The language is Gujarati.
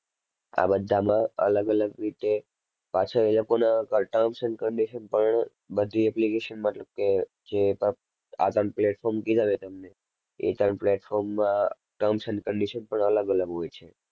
આ બધામાં અલગ અલગ રીતે પાછા એ લોકોના terms and conditon પણ બધી application મતલબ કે જે પણ આ ત્રણ platform કીધા મેં તમને એ ત્રણ plarform માં terms and conditon પણ અલગ-અલગ હોય છે.